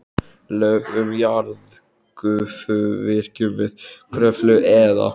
Lög um jarðgufuvirkjun við Kröflu eða